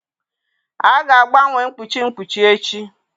A ga-agbanwe mkpuchi mkpuchi echi.